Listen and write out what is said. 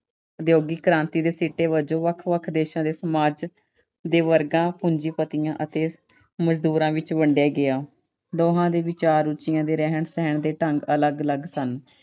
ਉਦਯੋਗਿਕ ਕ੍ਰਾਂਤੀ ਦੇ ਸਿੱਟੇ ਵਜੋਂ ਵੱਖ-ਵੱਖ ਦੇਸ਼ਾਂ ਦੇ ਸਮਾਜ ਦੇ ਵਰਗਾਂ, ਪੂੰਜੀਪਤੀਆਂ ਅਤੇ ਮਜ਼ਦੂਰਾਂ ਵਿੱਚ ਵੰਡਿਆ ਗਿਆ। ਦੋਹਾਂ ਦੇ ਵਿਚਾਰ, ਰੁਚੀਆਂ ਅਤੇ ਰਹਿਣ-ਸਹਿਣ ਦੇ ਢੰਗ ਅਲੱਗ-ਅਲੱਗ ਸਨ।